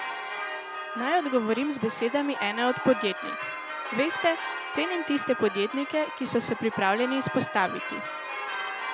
Naj odgovorim z besedami ene od podjetnic: "Veste, cenim tiste podjetnike, ki so se pripravljeni izpostaviti.